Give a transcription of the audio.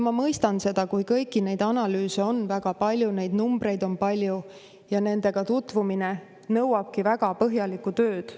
Ma mõistan seda, et kõiki neid analüüse on väga palju, neid numbreid on palju ja nendega tutvumine nõuabki väga põhjalikku tööd.